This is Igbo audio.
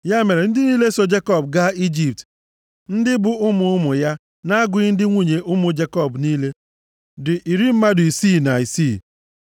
Ya mere, ndị niile so Jekọb gaa Ijipt, ndị bụ ụmụ ụmụ ya, na-agụghị ndị nwunye ụmụ Jekọb niile, dị iri mmadụ isii na isii.